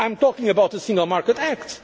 proposals. I am talking about the Single